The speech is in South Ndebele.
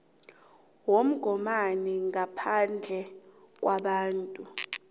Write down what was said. womgomani ngaphandle kwabantu